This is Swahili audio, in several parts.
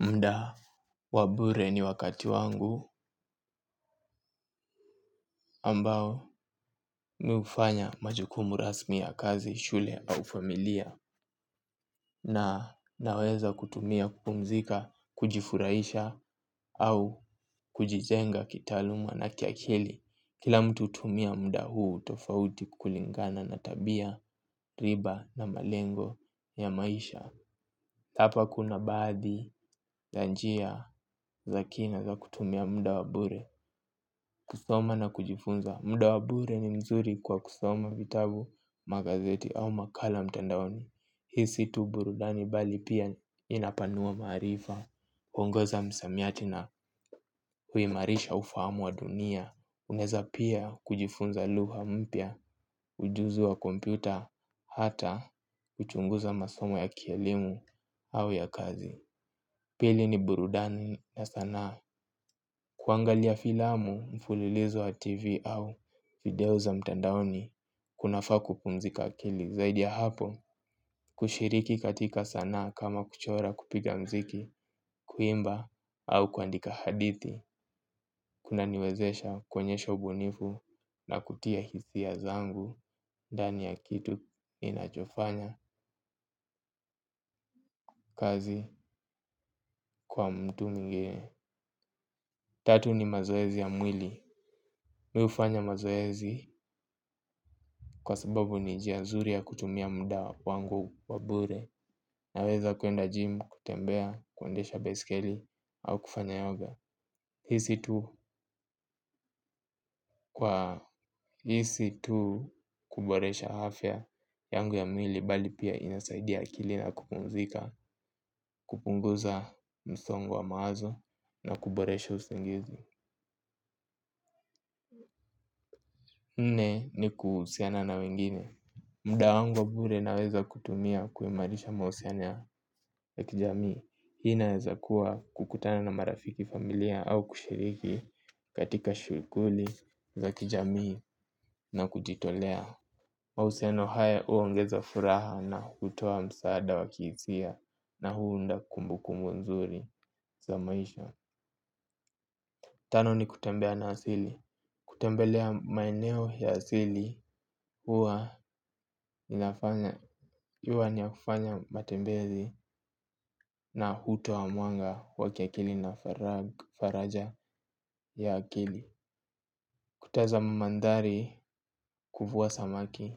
Mda wabure ni wakati wangu ambao miufanya majukumu rasmi ya kazi, shule au familia na naweza kutumia kupumzika, kujifuraisha au kujizenga kitaluma na kiakili. Kila mutu utumia muda huu tofauti kulingana na tabia na malengo tofauti hapa kuna badhi ya njia za kina za kutumia muda wabure. Kusoma na kujifunza muda wabure ni mzuri kwa kusoma vitabu magazeti au makala mtandaoni. Hii situ burudani bali pia inapanua marifa uogoza msamiati na kuimarisha ufahamu ya dunia. Unaeza pia kujifunza lugha mpia ujuzi wa kompyuta. Hata kuchunguza masomo ya kielimu au ya kazi. Pili ni burudani na sana kuangalia filamu mfulilizo wa tv au video za mtandaoni kunafaa kupumzika akili zaidi ya hapo kushikiriki katika sanaa kama kuchora kupika musiki kuimba au kuandika hadithi. Kuna niwezesha kuonyesha ubunifu na kutia hisi ya zangu ndani ya kitu inachofanya kazi kwa mtu nge. Tatu ni mazoezi ya mwili. Miufanya mazoezi kwa sababu ni jia nzuri ya kutumia muda wa kwangu wa bure. Naweza kuenda gym, kutembea, kuendesha besikeli au kufanya yoga. Hisi tu kuboresha afya yangu ya mwili. Bali pia inasaidia kili na kupumzika, kupunguza msongo wa mawazo na kuboresha usingizi nne ni kusiana na wengine. Muda wangu wa bure naweza kutumia kuhimarisha mausiano ya kijamii. Hii naweza kuwa kukutana na marafiki familia au kushiriki katika shughuli za kijamii na kujitolea. Mahusiano haya uongeza furaha na hutoa msaada wakihisia na huunda kumbu kumbu nzuri za maisha. Tano ni kutembea na asili. Kutembelea maeneo ya asili hua inafanya iwa niya kufanya matembezi na huto wa muanga wa kiakili na faraja ya akili. Kutaza mamandari kufuwa samaki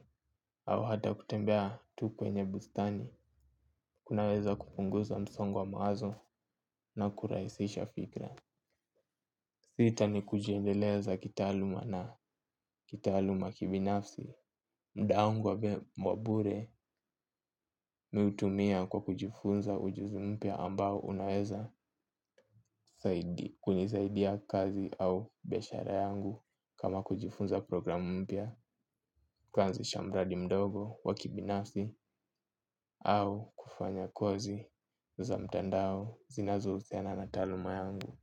au hata kutembea tukwenye bustani, kunaweza kupunguza msongo wa mawazo na kuraisisha fikra. Sita ni kujiendeleza kitaluma na kitaluma kibinafsi mdaungwa wabure miutumia kwa kujifunza ujuzumpia ambao unaweza kunizaidia kazi au beshara yangu kama kujifunza programu mpia kanzi chambradi mdogo wa kibinafsi au kufanya kozi za mtandao zinazo uziana na taluma yangu.